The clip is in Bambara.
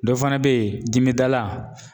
Dɔ fana bɛ yen dimidala ,